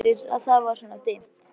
Þakkaði fyrir að það var svona dimmt.